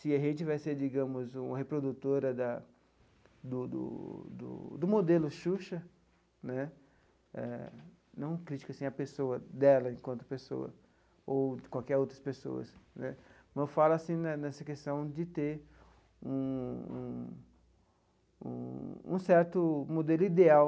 Se a gente vai ser, digamos, uma reprodutora da do do do modelo Xuxa né, não critico assim a pessoa dela enquanto pessoa ou de qualquer outras pessoas né, mas falo assim nessa questão de ter um um um certo modelo ideal,